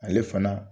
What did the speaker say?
Ale fana